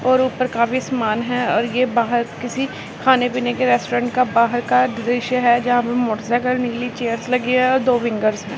और ऊपर काफी समान है और ये बाहर किसी खाने-पीने के रेस्टोरेंट का बाहर का दृश्य है। जहां पर मोटरसाइकिल नीली चेयर्स लगे हैं और दो है।